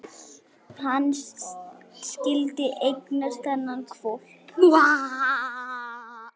Hann skyldi eignast þennan hvolp!